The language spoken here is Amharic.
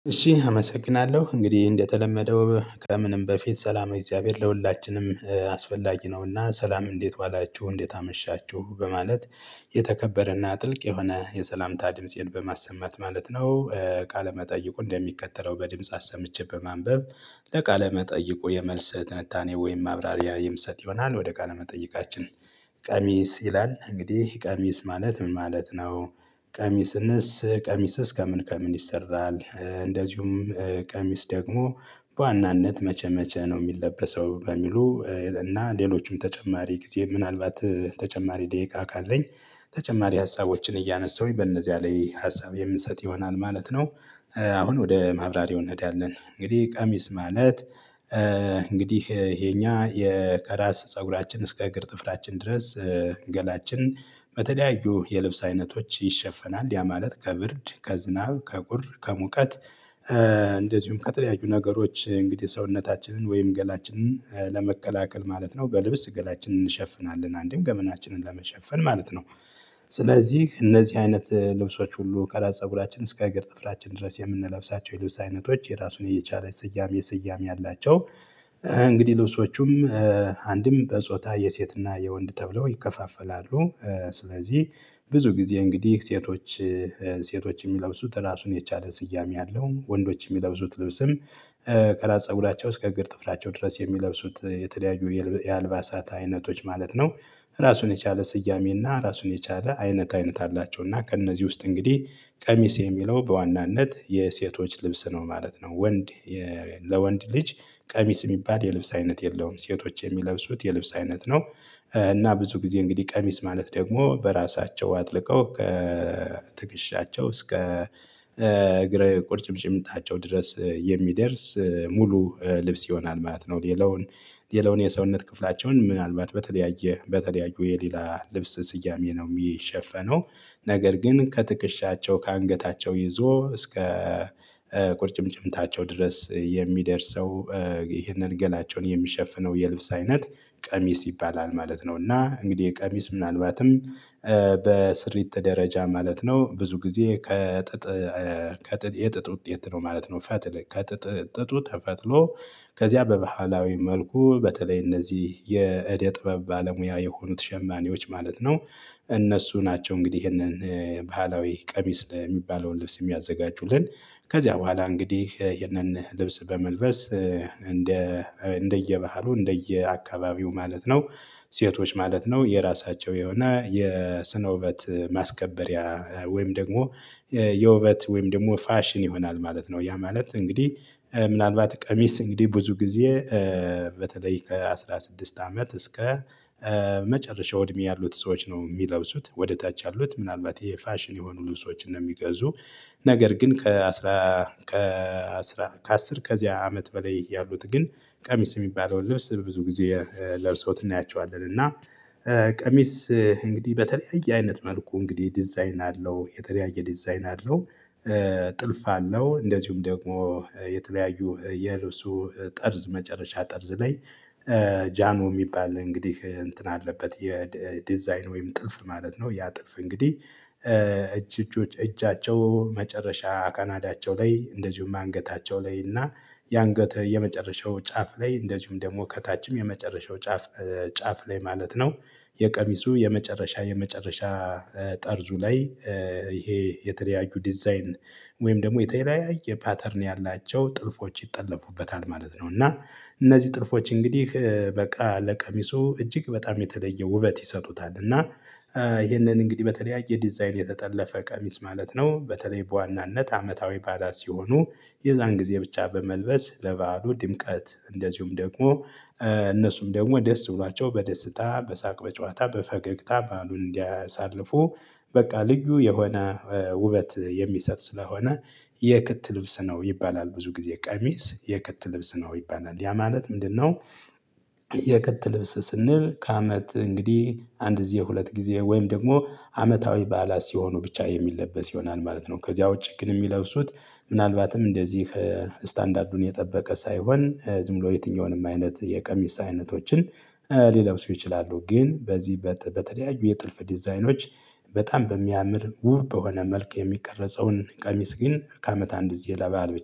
እሺ አመሰግናለው እንግዲህ እንደተለመደው ከምንም በፊት ሰላመ እግዚአብሔር ለሁላችንም አስፈላጊ ነው እና ሰላም እንዴት ዋላችሁ እንዴት አመሻችሁ በማለት የተከበረ እና ጥልቅ የሆነ የሰላምታ ድምፄን በማሰማት ማለት ነው። ቃለ መጠይቁ እንደሚከተለው በድምጽ አሰምቼ በማንበብ። ለቃለ መጠይቁ የመልስ ትንታኔ ወይም ማብራሪያ የምሰጥ ይሆናል ወደ ቃለ መጠይቃችን። ቀሚስ ይላል እንግዲህ ቀሚስ ማለት ምን ማለት ነው? ቀሚስንስ ቀሚስስ ከምን ከምን ይሰራል? እንደዚሁም ቀሚስ ደግሞ በዋናነት መቼ መቼ ነው የሚለበሰው በሚሉ? እና ሌሎችም ተጨማሪ ጊዜ ምናልባት ተጨማሪ ደቂቃ ካለኝ ተጨማሪ ሀሳቦችን እያነሳሁኝ በእነዚያ ላይ ሀሳብ የምሰጥ ይሆናል ማለት ነው። አሁን ወደ ማብራሪያው እንሄዳለን። እንግዲህ ቀሚስ ማለት እንግዲህ የኛ የከራስ ፀጉራችን እስከ እግር ጥፍራችን ድረስ። ገላችን በተለያዩ የልብስ አይነቶች ይሸፈናል ያ ማለት ከብርድ ከዝናብ ከቁር ከሙቀት። እንደዚሁም ከተለያዩ ነገሮች እንግዲህ ሰውነታችንን ወይም ገላችንን ለመከላከል ማለት ነው። በልብስ ገላችንን እንሸፍናለን አንድም ገመናችንን ለመሸፈን ማለት ነው። ስለዚህ እነዚህ አይነት ልብሶች ሁሉ ከራስ ፀጉራችን እስከ እግር ጥፍራችን ድረስ የምንለብሳቸው የልብስ አይነቶች የራሱን የቻለ ስያሜ ስያሜ አላቸው። እንግዲህ ልብሶቹም አንድም በጾታ የሴት እና የወንድ ተብለው ይከፋፈላሉ። ስለዚህ ብዙ ጊዜ እንግዲህ ሴቶች ሴቶች የሚለብሱት ራሱን የቻለ ስያሜ አለው። ወንዶች የሚለብሱት ልብስም ከራስ ፀጉራቸው እስከ እግር ጥፍራቸው ድረስ የሚለብሱት የተለያዩ የአልባሳት አይነቶች ማለት ነው። ራሱን የቻለ ስያሜ እና ራሱን የቻለ አይነት አይነት አላቸው እና ከእነዚህ ውስጥ እንግዲህ ቀሚስ የሚለው በዋናነት የሴቶች ልብስ ነው ማለት ነው። ወንድ ለወንድ ልጅ ቀሚስ የሚባል የልብስ አይነት የለውም። ሴቶች የሚለብሱት የልብስ አይነት ነው። እና ብዙ ጊዜ እንግዲህ ቀሚስ ማለት ደግሞ በራሳቸው አጥልቀው ከትክሻቸው እስከ እግር ቁርጭምጭሚታቸው ድረስ የሚደርስ ሙሉ ልብስ ይሆናል ማለት ነው። ሌላውን ሌላውን የሰውነት ክፍላቸውን ምናልባት በተለያየ በተለያዩ የሌላ ልብስ ስያሜ ነው የሚሸፈነው። ነገር ግን ከትክሻቸው ከአንገታቸው ይዞ እስከ ቁርጭምጭሚታቸው ድረስ የሚደርሰው። ይህንን ገላቸውን የሚሸፍነው የልብስ አይነት ቀሚስ ይባላል ማለት ነው። እና እንግዲህ ቀሚስ ምናልባትም በስሪት ደረጃ ማለት ነው ብዙ ጊዜ ከጥጥ ከጥጥ የጥጥ ውጤት ነው ማለት ነው። ከጥጥ ጥጡ ተፈትሎ ከዚያ በባህላዊ መልኩ በተለይ እነዚህ የእደ ጥበብ ባለሙያ የሆኑት ሸማኔዎች ማለት ነው። እነሱ ናቸው እንግዲህ ይሄንን ባህላዊ ቀሚስ የሚባለውን ልብስ የሚያዘጋጁልን። ከዚያ በኋላ እንግዲህ ይሄንን ልብስ በመልበስ እንደ እንደየባህሉ እንደየአካባቢው ማለት ነው። ሴቶች ማለት ነው የራሳቸው የሆነ የስነ ውበት ማስከበሪያ ወይም ደግሞ የውበት ወይም ደግሞ ፋሽን ይሆናል ማለት ነው። ያ ማለት እንግዲህ ምናልባት ቀሚስ እንግዲህ ብዙ ጊዜ በተለይ ከአስራ ስድስት አመት እስከ መጨረሻው እድሜ ያሉት ሰዎች ነው የሚለብሱት ወደ ታች ያሉት ምናልባት ይሄ ፋሽን የሆኑ ልብሶችን ነው የሚገዙ። ነገር ግን ከአስር ከዚያ አመት በላይ ያሉት ግን ቀሚስ የሚባለውን ልብስ በብዙ ጊዜ ለብሰውት እናያቸዋለን። እና ቀሚስ እንግዲህ በተለያየ አይነት መልኩ እንግዲህ ዲዛይን አለው የተለያየ ዲዛይን አለው። ጥልፍ አለው እንደዚሁም ደግሞ የተለያዩ የልብሱ ጠርዝ መጨረሻ ጠርዝ ላይ ጃኖ የሚባል እንግዲህ እንትን አለበት የዲዛይን ወይም ጥልፍ ማለት ነው። ያ ጥልፍ እንግዲህ እጅ እጆች እጃቸው መጨረሻ ካናዳቸው ላይ እንደዚሁም አንገታቸው ላይ እና የአንገት የመጨረሻው ጫፍ ላይ እንደዚሁም ደግሞ ከታችም የመጨረሻው ጫፍ ጫፍ ላይ ማለት ነው። የቀሚሱ የመጨረሻ የመጨረሻ ጠርዙ ላይ ይሄ የተለያዩ ዲዛይን ወይም ደግሞ የተለያየ ፓተርን ያላቸው ጥልፎች ይጠለፉበታል ማለት ነው። እና እነዚህ ጥልፎች እንግዲህ በቃ ለቀሚሱ እጅግ በጣም የተለየ ውበት ይሰጡታል። እና ይሄንን እንግዲህ በተለያየ ዲዛይን የተጠለፈ ቀሚስ ማለት ነው በተለይ በዋናነት አመታዊ በዓላት ሲሆኑ። የዛን ጊዜ ብቻ በመልበስ ለበዓሉ ድምቀት እንደዚሁም ደግሞ እነሱም ደግሞ ደስ ብሏቸው በደስታ በሳቅ በጨዋታ በፈገግታ በዓሉን እንዲያሳልፉ። በቃ ልዩ የሆነ ውበት የሚሰጥ ስለሆነ የክት ልብስ ነው ይባላል ብዙ ጊዜ ቀሚስ የክት ልብስ ነው ይባላል ያ ማለት ምንድን ነው? የክጥ ልብስ ስንል ከአመት እንግዲህ አንድ ጊዜ ሁለት ጊዜ ወይም ደግሞ አመታዊ በዓላት ሲሆኑ ብቻ የሚለበስ ይሆናል ማለት ነው። ከዚያ ውጪ ግን የሚለብሱት ምናልባትም እንደዚህ ስታንዳርዱን የጠበቀ ሳይሆን ዝም ብሎ የትኛውንም አይነት የቀሚስ አይነቶችን ሊለብሱ ይችላሉ። ግን በዚህ በተለያዩ የጥልፍ ዲዛይኖች በጣም በሚያምር ውብ በሆነ መልክ የሚቀረጸውን ቀሚስ ግን ከአመት አንድ ግዜ ለበአል